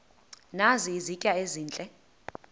nazi izitya ezihle